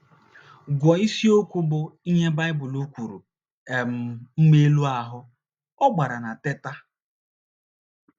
Gụọ isiokwu bụ́ ““ Ihe Baịbụl Kwuru — um Mma Elu Ahụ́. ” Ọ gbara na Teta!